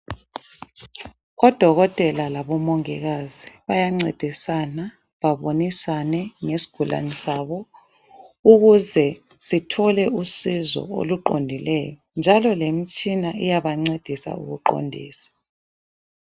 Udokotela labo mongikazi bayancedisana babonisane ngesigulane sabo ukuze sithole usizo oluqondileyo njalo lemitshina iyabancedisa ukuqondisa.